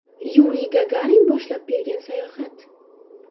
Yuriy Gagarin boshlab bergan sayohat.